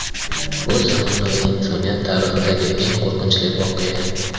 Bu zamonaviy insoniyat tarixidagi eng qo‘rqinchli voqea.